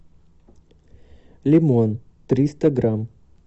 лимон триста грамм